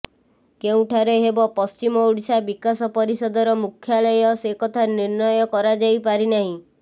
କେଉଁଠାରେ ହେବ ପଶ୍ଚିମ ଓଡ଼ିଶା ବିକାଶ ପରିଷଦର ମୁଖ୍ୟାଳୟ ସେ କଥା ନିର୍ଣ୍ଣୟ କରାଯାଇପାରି ନାହିଁ